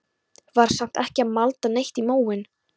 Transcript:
Var samt ekki að malda neitt í móinn.